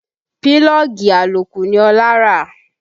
Pílọ́ọ̀gì àlòkù ni Ọlá rà